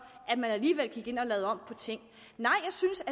at man alligevel gik ind og lavede om på ting nej